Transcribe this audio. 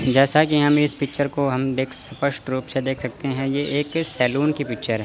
जैसा कि हम इस पिक्चर को हम देख अस्पष्ट रूप से देख सकते हैं ये एक सैलून की पिक्चर है।